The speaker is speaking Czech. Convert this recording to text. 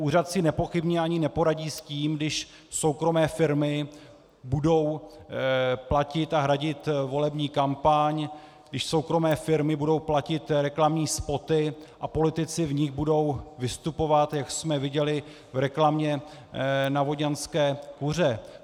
Úřad si nepochybně ani neporadí s tím, když soukromé firmy budou platit a hradit volební kampaň, když soukromé firmy budou platit reklamní spoty a politici v nich budou vystupovat, jak jsme viděli v reklamě na vodňanské kuře.